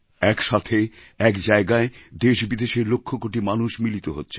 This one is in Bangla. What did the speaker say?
এক সাথে এক জায়গায় দেশ বিদেশের লক্ষকোটি মানুষ মিলিত হচ্ছেন